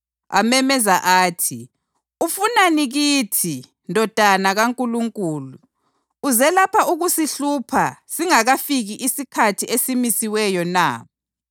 Amemeza athi, “Ufunani kithi, Ndodana kaNkulunkulu? Uze lapha ukuzasihlupha singakafiki isikhathi esimisiweyo na?”